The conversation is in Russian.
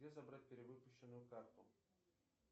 где забрать перевыпущенную карту